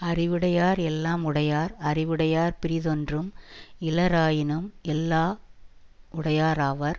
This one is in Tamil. அறிவுடையார் எல்லாம் உடையார் அறிவுடையார் பிறிதொன்றும் இலராயினும் எல்லாம் உடையராவர்